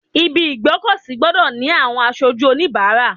Ibi ìgbé ọkọ̀ sí gbọ́dọ̀ ni àwọn aṣojú onibaara.